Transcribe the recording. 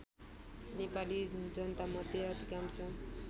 नेपाली जनतामध्ये अधिकांश